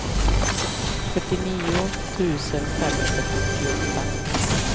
fyrtionio tusen femhundrafyrtioåtta